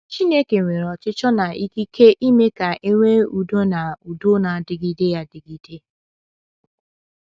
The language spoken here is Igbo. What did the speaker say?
Chineke nwere ọchịchọ na ikike ime ka e nwee udo na udo na - adịgide adịgide.